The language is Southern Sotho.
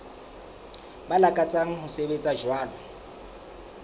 ba lakatsang ho sebetsa jwalo